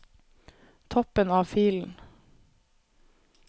Toppen av filen